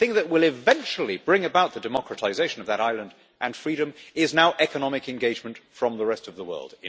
The thing that will eventually bring about the democratisation of that island and freedom is now economic engagement from the rest of the world.